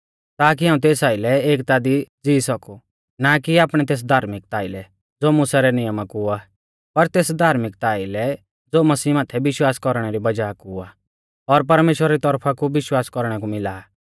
ताकी हाऊं तेस आइलै एकता दी ज़ीई सौकु ना कि आपणै तेस धार्मिकता आइलै ज़ो मुसा रै नियमा कु आ पर तेस धार्मिकता आइलै ज़ो मसीह माथै विश्वास कौरणै री वज़ाह कु आ और परमेश्‍वरा री तौरफा कु विश्वास कौरणै कु मिला आ